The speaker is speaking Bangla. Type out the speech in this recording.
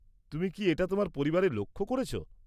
তুমি কি এটা তোমার পরিবারে লক্ষ্য করেছ?